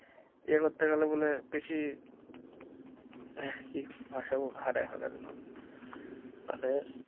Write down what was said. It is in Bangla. ইয়ে করতে হবে মানে বেশি মানে।